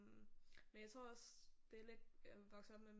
Men jeg tror også det er lidt jeg vokset op med